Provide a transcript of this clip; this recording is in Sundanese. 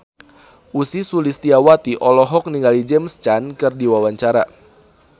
Ussy Sulistyawati olohok ningali James Caan keur diwawancara